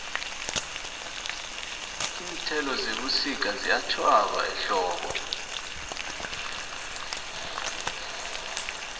iinthelo zebusika ziyatjhwaba ehlobo